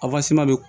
bɛ